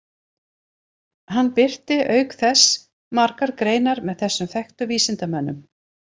Hann birti auk þess margar greinar með þessum þekktu vísindamönnum.